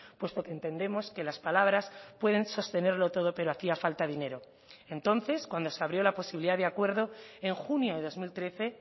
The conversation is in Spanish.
puesto que entendemos que las palabras pueden sostenerlo todo pero hacía falta dinero entonces cuando se abrió la posibilidad de acuerdo en junio de dos mil trece